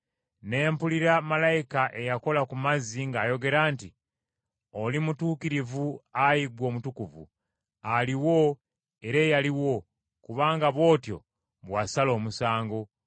Ne mpulira malayika eyakola ku mazzi ng’ayogera nti, “Oli mutuukirivu, Ayi ggwe Omutukuvu, aliwo era eyaliwo, kubanga bw’otyo bwe wasala omusango.